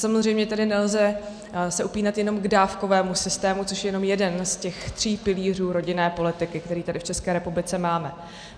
Samozřejmě tady se nelze upínat jenom k dávkovému systému, což je jenom jeden z těch tří pilířů rodinné politiky, který tady v České republice máme.